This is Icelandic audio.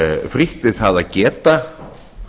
frítt við það að geta